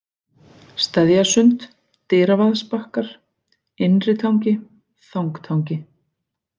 Steðjasund, Dyravaðsbakkar, Innritangi, Þangtangi